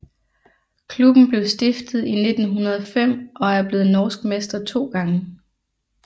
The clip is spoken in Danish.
Klubben blev stiftet i 1905 og er blevet norsk mester 2 gange